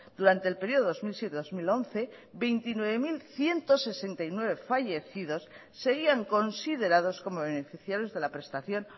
durante el periodo dos mil siete dos mil once veintinueve mil ciento sesenta y nueve fallecidos seguían considerados como beneficiarios de la prestación